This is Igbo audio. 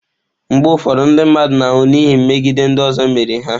Mgbe ụfọdụ ndị mmadụ na-anwụ n'ihi megide ndị ọzọ mere ha.